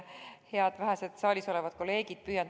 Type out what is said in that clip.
Head vähesed saalis olevad kolleegid!